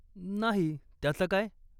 नाही, त्याचं काय?